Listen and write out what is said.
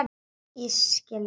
Ég skil það.